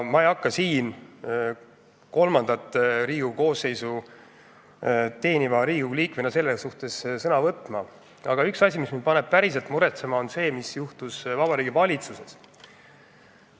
Ma ei hakka kolmandat Riigikogu koosseisu teeniva inimesena selle kohta sõna võtma, aga üks asi, mis mind paneb päriselt muretsema, on see, mis juhtus Vabariigi Valitsuses.